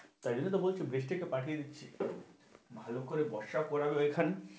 তাই জন্য তো বলছি বৃষ্টিটা পাঠিয়ে দিচ্ছি, ভালো করে বর্ষা ও করালো এখানে,